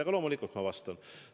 Aga loomulikult ma vastan.